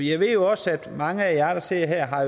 jeg ved jo også at mange af jer der sidder her har